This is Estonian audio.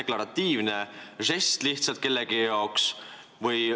Kas see on lihtsalt deklaratiivne žest kellegi jaoks?